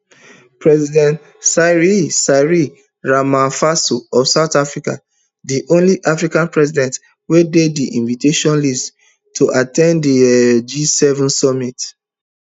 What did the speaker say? president cyril cyril ramaphosa of south africana di only african president wey dey di invitation list to at ten d di um gseven summit